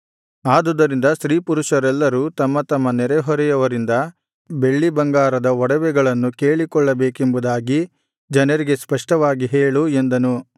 ಆದುದರಿಂದ ಸ್ತ್ರೀಪುರುಷರೆಲ್ಲರೂ ತಮ್ಮ ತಮ್ಮ ನೆರೆಹೊರೆಯವರಿಂದ ಬೆಳ್ಳಿಬಂಗಾರದ ಒಡವೆಗಳನ್ನು ಕೇಳಿಕೊಳ್ಳಬೇಕೆಂಬುದಾಗಿ ಜನರಿಗೆ ಸ್ಪಷ್ಟವಾಗಿ ಹೇಳು ಎಂದನು